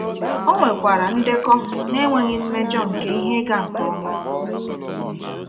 O nwekwara ndekọ na-enweghị mmejọ nke ihe ịga nke ọma.